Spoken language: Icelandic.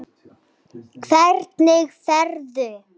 Hvenær ferðu?